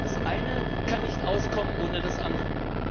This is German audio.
Das eine kann nicht auskommen ohne das andere.